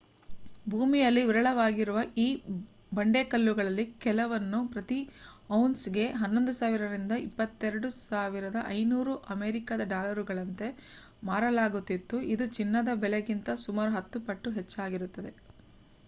ಭೂಮಿಯಲ್ಲಿ ವಿರಳವಾಗಿರುವ ಈ ಬಂಡೆಕಲ್ಲುಗಳಲ್ಲಿ ಕೆಲವನ್ನು ಪ್ರತಿ ಔನ್ಸ್‌ಗೆ 11,000 ದಿಂದ 22,500 ಅಮೇರಿಕದ ಡಾಲರುಗಳಂತೆ ಮಾರಲಾಗುತ್ತಿದ್ದು ಇದು ಚಿನ್ನದ ಬೆಲೆಗಿಂತ ಸುಮಾರು ಹತ್ತು ಪಟ್ಟು ಹಚ್ಚ್ಚಾಗಿರುತ್ತದೆ